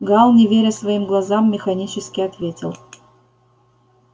гаал не веря своим глазам механически ответил